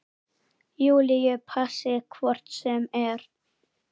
Júlíu passi hvort sem er.